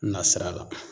Nasira la